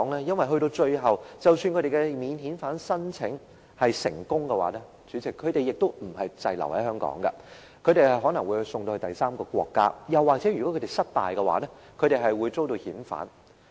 因為最後即使他們的免遣返聲請成功，主席，他們也不是滯留香港，而是可能被送到第三個國家，又或是如果他們申請失敗，便會遭遣返。